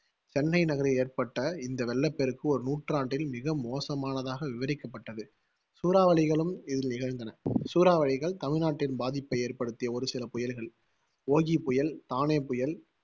சென்னை நகரில் ஏற்பட்ட இந்த வெள்ளப்பெருக்கு ஒரு நூற்றாண்டில் மிக மோசமானதாக விவரிக்கப்பட்டது சூறாவளிகளும் இதில் நிகழ்ந்தன. சூறாவளிகள் தமிழ்நாட்டில் பாதிப்பை ஏற்படுத்திய ஒரு சில புயல்கள் ஒகி புயல், தானே புயல்,